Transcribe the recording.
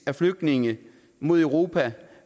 af flygtninge mod europa